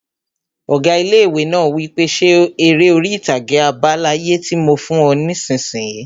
Ọgá ilé-ìwé náà wí pé 'Ṣe eré orí-ìtàgé àbá láyé tí mo fún ọ nisinyi!